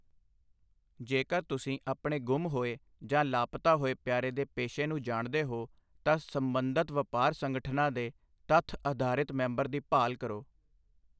ਜੇਕਰ ਤੁਸੀਂ ਆਪਣੇ ਗੁੰਮ ਹੋਏ ਜਾਂ ਲਾਪਤਾ ਹੋਏ ਪਿਆਰੇ ਦੇ ਪੇਸ਼ੇ ਨੂੰ ਜਾਣਦੇ ਹੋ, ਤਾਂ ਸਬੰਧਤ ਵਪਾਰ ਸੰਗਠਨਾਂ ਦੇ ਤੱਥ ਆਧਾਰਿਤ ਮੈਂਬਰ ਦੀ ਭਾਲ ਕਰੋ।